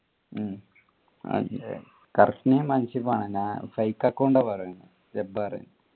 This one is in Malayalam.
ഉം correct name അൻസിഫ്ആണ് ഞാൻ fake account പറയുന്ന് ജബ്ബാറ്